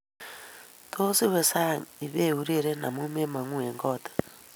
Tos iwe sang ibiureren amu memangu eng koot